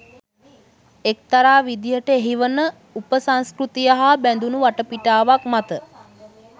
එක්තරා විදියට එහි වන උපසංස්කෘතිය හා බැදුණු වටපිටාවක් මත